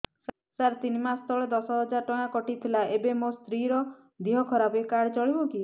ସାର ତିନି ମାସ ତଳେ ଦଶ ହଜାର ଟଙ୍କା କଟି ଥିଲା ଏବେ ମୋ ସ୍ତ୍ରୀ ର ଦିହ ଖରାପ ଏ କାର୍ଡ ଚଳିବକି